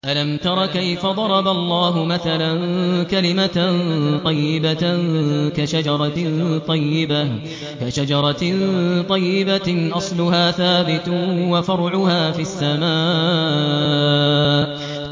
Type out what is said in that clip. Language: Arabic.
أَلَمْ تَرَ كَيْفَ ضَرَبَ اللَّهُ مَثَلًا كَلِمَةً طَيِّبَةً كَشَجَرَةٍ طَيِّبَةٍ أَصْلُهَا ثَابِتٌ وَفَرْعُهَا فِي السَّمَاءِ